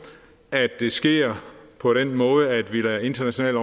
at det sker på den måde at vi lader internationale